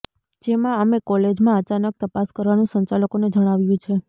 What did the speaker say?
જેમાં અમે કોલેજમાં અચાનક તપાસ કરવાનુ સંચાલકોને જણાવ્યુ છે